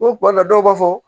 O kuma dɔw b'a fɔ